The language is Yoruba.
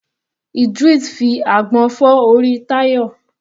Idris fi àgbọn fọ́ orí Tayo.